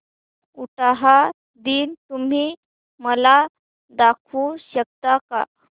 उटाहा दिन तुम्ही मला दाखवू शकता का